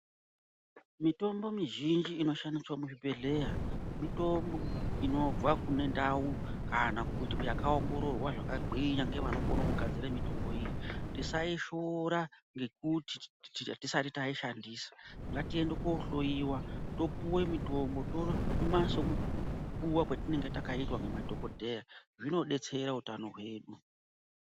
Mitombo mizhinji inoshandiswa muzvibhehleya mitombo inobva kune ndau yakaongororwa zvakagwinya nevanokona kugadzira mitombo iyi tisaifuura nekuti hatisati tishandisa ngatiende kohloiwa topiwa mitombo tomwa sekupuwa kwatinenge takaita nemadhokhodheya zvinodetsera utano hwedu.